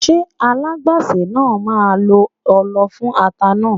Ṣé alágbàsè náà máa lo ọlọ fún ata náà?